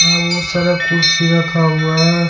यहां बहुत सारा कुर्सी रखा हुआ है।